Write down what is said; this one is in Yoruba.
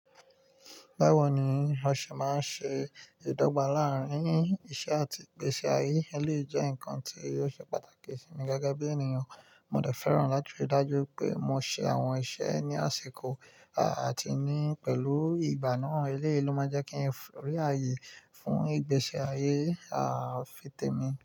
Báwo ni a ṣe máa ṣe ìdọ́gba láàárín iṣẹ́ àti ìgbésí ayé, eléyìí jẹ́ nǹkan tí ò ṣe pàtàkì sí mi gẹ́gẹ́ bí ènìyàn. Mo de fẹ́ràn láti rí dájú wipé mo ṣe àwọn iṣẹ́ ní àsìkò àti ní pẹ̀lú ìgbà náà eléyìí ló máa jẹ́ kí n rí ààyè fún ìgbésí ayé à-fi tèmi.